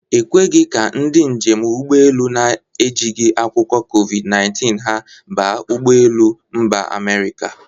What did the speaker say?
E kweghi ka ndị njem ụgbọelu na-ejigi akwụkwọ COVID-19 ha baa n'ụgbọ elu Mba Amerika.